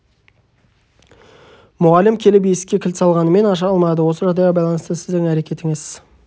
мұғалім келіп есікке кілт салғанымен аша алмады осы жағдайға байланысты сіздің әрекетіңіз